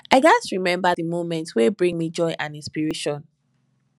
i gats remember the moments wey bring me joy and inspiration